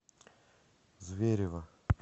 зверево